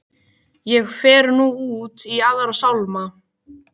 Ég fer nú út í aðra sálma.